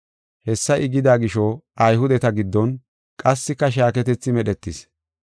Hessa I gida gisho, Ayhudeta giddon qassika shaaketethi medhetis.